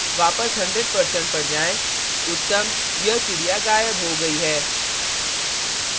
वापस 100% पर जाएँ उत्तम यह चिड़िया गायब हो गयी है